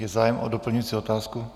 Je zájem o doplňující otázku?